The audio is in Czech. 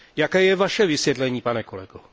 Jaké je vaše vysvětlení, pane kolego?